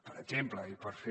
per exemple i per fer